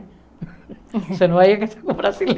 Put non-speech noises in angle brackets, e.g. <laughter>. <laughs> Você não vai casar com